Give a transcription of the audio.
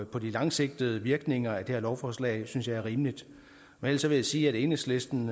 på de langsigtede virkninger af det her lovforslag synes jeg er rimeligt ellers vil jeg sige at enhedslisten